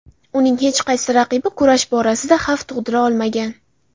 Uning hech qaysi raqibi kurash borasida xavf tug‘dira olmagan.